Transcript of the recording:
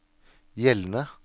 gjeldende